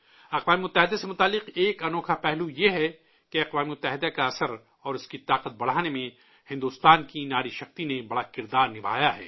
اقوام متحدہ سے جڑا ایک انوکھا پہلو یہ ہے کہ اقوام متحدہ کا اثر اور اس کی طاقت بڑھانے میں، ہندوستانی خواتین نے بڑا رول نبھایا ہے